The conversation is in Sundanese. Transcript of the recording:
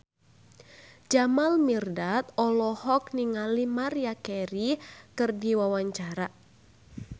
Jamal Mirdad olohok ningali Maria Carey keur diwawancara